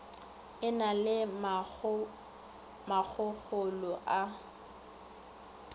e na le makgokgolo a